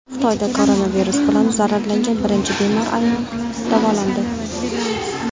Xitoyda koronavirus bilan zararlangan birinchi bemor ayol davolandi.